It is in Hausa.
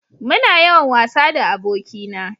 Muna yawan wasa da aboki na